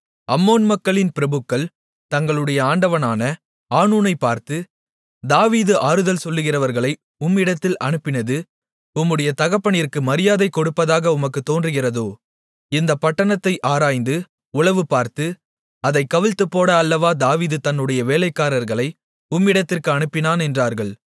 அம்மோன் மக்களின் பிரபுக்கள் தங்களுடைய ஆண்டவனான ஆனூனைப் பார்த்து தாவீது ஆறுதல் சொல்லுகிறவர்களை உம்மிடத்தில் அனுப்பினது உம்முடைய தகப்பனிற்கு மரியாதைக் கொடுப்பதாக உமக்குத் தோன்றுகிறதோ இந்தப் பட்டணத்தை ஆராய்ந்து உளவுபார்த்து அதைக் கவிழ்த்துப்போட அல்லவோ தாவீது தன்னுடைய வேலைக்கரர்களை உம்மிடத்திற்கு அனுப்பினான் என்றார்கள்